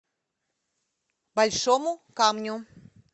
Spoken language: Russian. большому камню